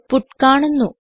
output കാണുന്നു